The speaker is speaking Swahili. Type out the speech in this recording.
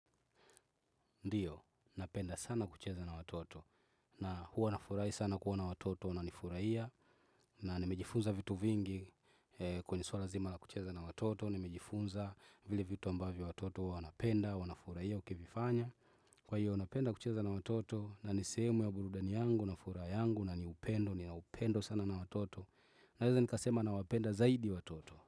Ndiyo, napenda sana kucheza na watoto. Na huwa nafurahi sana kuona na watoto, wananifurahia. Na nimejifunza vitu vingi kwenye swala zima la kucheza na watoto. Nimejifunza vile vitu ambavyo watoto wanapenda, wanafurahia, ukifanya. Kwa hiyo, napenda kucheza na watoto, na ni sehemu ya burudani yangu, na furaha yangu, na ni upendo, nina upendo sana na watoto. Naeza nikasema nawapenda zaidi watoto.